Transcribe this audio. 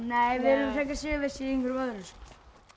við erum frekar sigurvissir í einhverju öðru